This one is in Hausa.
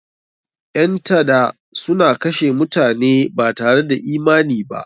Ƴan tada suna kashe mutane batare da imani ba..